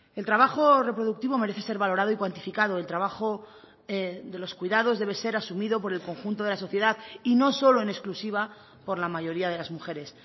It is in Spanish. el trabajo reproductivo merece ser valorado y cuantificado el trabajo de los cuidados debe ser asumido por el conjunto de la sociedad y no solo en exclusiva por la mayoría de las mujeres